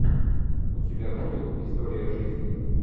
у тебя будет история жизни